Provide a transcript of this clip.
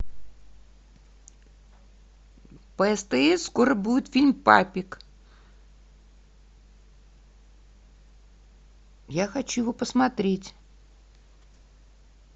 по стс скоро будет фильм папик я хочу его посмотреть